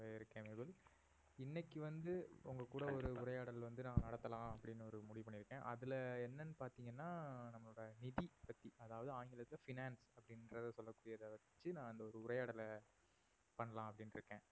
இருக்கேன் நேபல் இன்னைக்கு வந்து உங்க கூட ஒரு உரையாடல் வந்து நான் நடத்தலாம் அப்படின்னு ஒரு முடிவு பண்ணி இருக்கேன் அதுல என்னன்னு பார்த்தீங்கன்னா நம்மளோட நிதி பத்தி அதாவது ஆங்கிலத்தில finance அப்படின்றத சொல்லக்கூடியது வெச்சி இந்த ஒரு உரையாடலை பண்ணலாம் அப்படின்னு இருக்கேன்